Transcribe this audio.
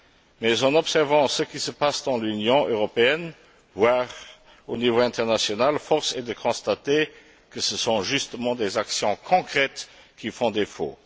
Mais en observant ce qui se passe dans l'Union européenne, voire au niveau international, force est de constater que ce sont justement les actions concrètes qui font défaut.